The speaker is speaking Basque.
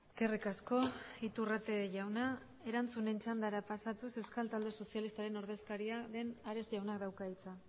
eskerrik asko iturrate jauna erantzunen txandara pasatuz euskal talde sozialistaren ordezkaria den ares jaunak dauka hitza